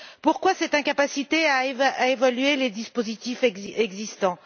Pourquoi cette incapacité à évaluer les dispositifs existants?